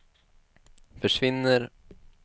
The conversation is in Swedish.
försvinner